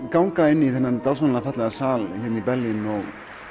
ganga inn í þennan dásamlega fallega sal hérna í Berlín og